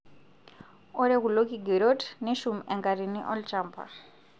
Ore kulo kigerot neshum enkatini olchampa.